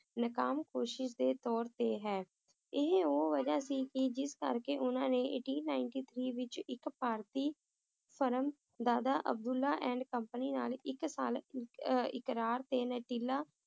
ਨਕਾਮ ਕੋਸ਼ਿਸ਼ ਦੇ ਤੌਰ ਤੇ ਹੈ ਇਹ ਉਹ ਵਜ੍ਹਾ ਸੀ ਕਿ ਜਿਸ ਕਰਕੇ ਉਹਨਾਂ ਨੇ eighteen ninety three ਵਿਚ ਇਕ ਭਾਰਤੀ, firm Dada Abdulla and company ਨਾਲ ਇਕ ਸਾਲ ਇਕ~ ਇਕਰਾਰ ਤੇ